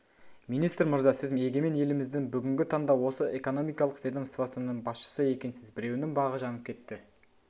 министр мырза сіз егемен еліміздің бүгінгі таңда осы экономикалық ведомствосының басшысы екенсіз біреуінің бағы жанып кетті